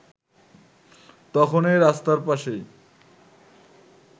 তখনই রাস্তার পাশেই